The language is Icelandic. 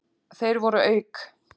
Þeir voru auk